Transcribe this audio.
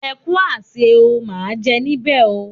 Ẹ kú àsè o, máa jẹ níbè o.